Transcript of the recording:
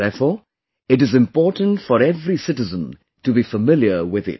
Therefore, it is important for every citizen to be familiar with it